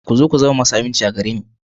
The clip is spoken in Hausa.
Ku zo ku zama masu aminci a gare ni.